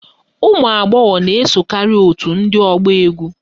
Ụmụagbọghọ na-esokarị òtù ndị ọgba égwú